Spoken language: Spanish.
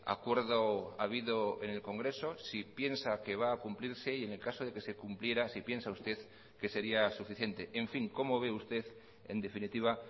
acuerdo habido en el congreso si piensa que va a cumplirse y en el caso de que se cumpliera si piensa usted que sería suficiente en fin cómo ve usted en definitiva